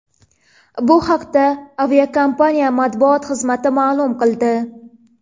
Bu haqda aviakompaniya matbuot xizmati ma’lum qildi .